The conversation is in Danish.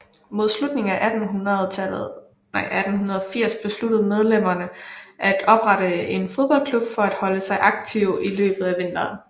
Mod slutningen af 1880 besluttede medlemmerne at oprette en fodboldklub for at holde sig aktive i løbet af vinteren